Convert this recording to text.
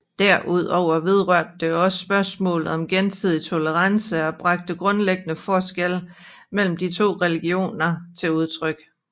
Derudover vedrørte det også spørgsmålet om gensidig tolerance og bragte grundlæggende forskelle mellem de to religioner til udtryk